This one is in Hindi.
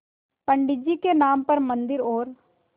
पंडित जी के नाम पर मन्दिर और